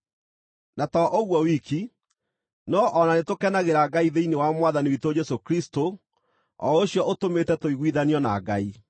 Na to ũguo wiki, no o na nĩtũkenagĩra Ngai thĩinĩ wa Mwathani witũ Jesũ Kristũ, o ũcio ũtũmĩte tũiguithanio na Ngai.